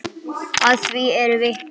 Að því eru vitni.